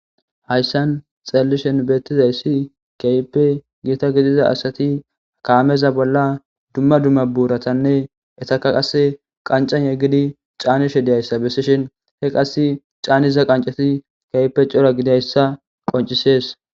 Hayssan xallishin beettizayssi kaype giita gidiza asati kaameza bolla dumma dumma buuratanne etaka qas qancan yeggidi caanishe diyayssa bessishin he qass caaniza qancati keype cora gidayssa qoncisees.